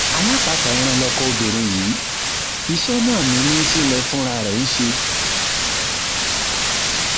alápatà um ẹran lọkọ obìnrin yìí iṣẹ náà ni líńsílẹ fúnra um ẹ ń ṣe